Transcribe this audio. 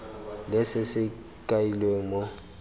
le se se kailweng mo